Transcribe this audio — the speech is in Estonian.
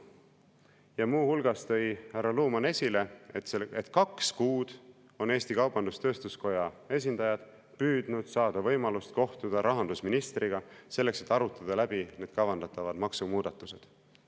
Ja muu hulgas tõi härra Luman esile, et kaks kuud on Eesti Kaubandus-Tööstuskoja esindajad püüdnud saada võimalust kohtuda rahandusministriga, selleks et arutada läbi kavandatavad maksumuudatused.